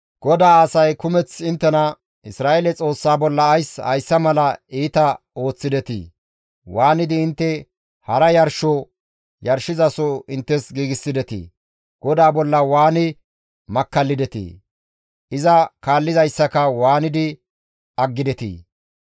«GODAA asay kumeth inttena, ‹Isra7eele Xoossa bolla ays hayssa mala iita ooththidetii? Waanidi intte hara yarsho yarshizaso inttes giigsidetii? GODAA bolla waani makkallidetii? Iza kaallizaayssaka waanidi aggidetii?